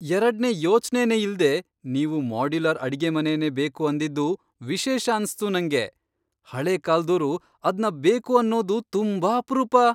ಎರಡ್ನೇ ಯೋಚ್ನೆನೇ ಇಲ್ದೇ ನೀವು ಮಾಡ್ಯುಲರ್ ಅಡ್ಗೆಮನೆನೇ ಬೇಕು ಅಂದಿದ್ದು ವಿಶೇಷ ಅನ್ಸ್ತು ನಂಗೆ. ಹಳೇ ಕಾಲ್ದೋರು ಅದ್ನ ಬೇಕು ಅನ್ನೋದು ತುಂಬಾ ಅಪ್ರೂಪ.